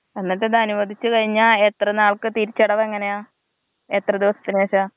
എന്നിട്ടത് അനുവദിച്ച് കഴിഞ എത്ര നാൾക്ക് തിരിച്ചടവ് എങ്ങനെയാ എത്ര ദിവസത്തിന് ശെഷാ?